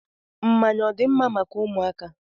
Mmanya ọ dị mma maka ụmụaka?